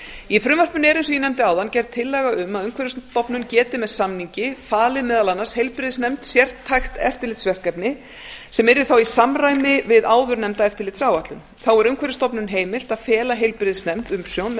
í frumvarpinu er eins og ég nefndi áðan gerð tillaga um að umhverfisstofnun geti með samningi falið meðal annars heilbrigðisnefnd sértækt eftirlitsverkefni sem yrði þá í samræmi við áðurnefnda eftirlitsáætlun þá er umhverfisstofnun heimilt að fela heilbrigðisnefnd umsjón með